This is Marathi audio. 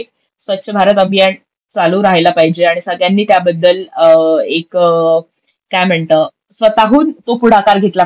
स्वच्छ भारत अभियान चालू राहायला पाहिजे आणि सगळ्यांनी त्याबद्दल एक काय म्हणतात स्वतःहून तो पुढाकार घेतला पाहिजे